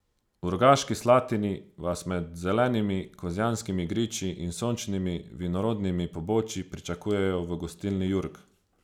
V Rogaški Slatini vas med zelenimi kozjanskimi griči in sončnimi vinorodnimi pobočji pričakujejo v Gostilni Jurg.